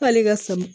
K'ale ka sama